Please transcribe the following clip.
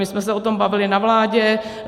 My jsme se o tom bavili na vládě.